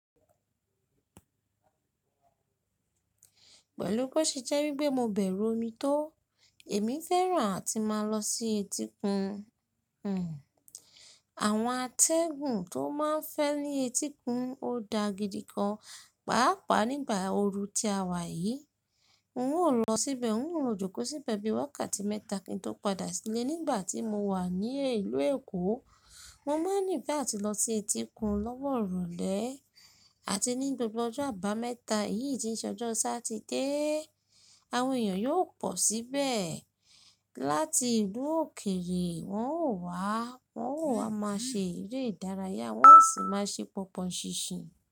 Pẹ̀lú bo ṣe jẹ́ wípé mo bẹ̀rù omi tó, èmi fẹ́ràn àti máa lọ sí etíkun. Àwọn atẹ́gùn tó máa ń fẹ́ ní etíkun ó da gidi gan, pàápàá nígbà ooru ti a wà yìí. N ó lọ síbẹ̀, n ó lo jókòó síbẹ̀ bí i wákàtí mẹ́ta kí n tó padà sílẹ̀ nígbà tí mo wà ní ìlú Èkó. Mo máa ń nífee atí lọ sí etíkun lọ́wọ́ iròlẹ́ àti ní gbogbo ọjọ́ àbámẹ́ta, èyí ti n ṣẹ́ ọjọ́ Sátidé. Àwọn èèyàn yóò pọ̀ síbẹ̀. Láti ìlú òkèrè wọ́n ó wá, wọ́n ó wá máa ṣe eré ìdárayá, wọ́n ó sì máa ṣe pọnpọn ṣinṣin.